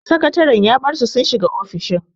Sakataren ya bar su sun shiga ofishin.